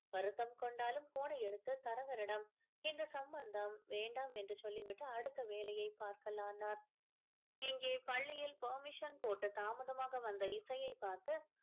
வருத்தம் கொண்டாலும் phone அ எடுத்து தரவரிடம் இந்த சம்பந்தம் வேண்டாம் என்று சொல்லி விட்டு அடுத்த வேலையை பார்க்கலானார் இங்கே பள்ளியில் permission போட்டு தாமதமாக வந்த இசையை பார்த்து